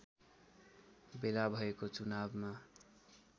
बेला भएको चुनावमा